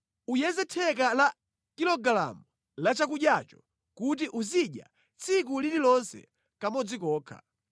Uyeze theka la kilogalamu la chakudyacho kuti uzidya tsiku lililonse kamodzi kokha.